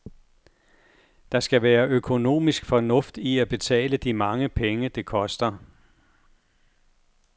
Der skal være økonomisk fornuft i at betale de mange penge, det koster.